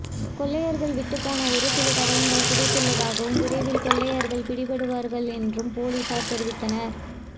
கொள்ளையர்கள் விட்டுப்போன ஒருசில தடயங்கள் கிடைத்துள்ளதாகவும் விரைவில் கொள்ளையர்கள் பிடிபடுவார்கள் என்றும் போலீசார் தெரிவித்தனர்